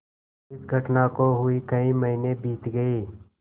इस घटना को हुए कई महीने बीत गये